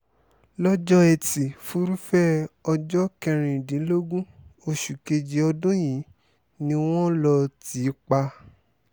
lọ́jọ́ etí furuufee ọjọ́ kẹrìndínlógún oṣù kejì ọdún yìí ni wọ́n lọ́ọ́ tì í pa